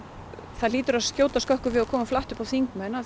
það hlýtur að skjóta skökku við og koma flatt upp á þingmenn að